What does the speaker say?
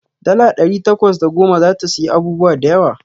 Dala ɗari takwas da goma zata siyi abubuwa da yawa.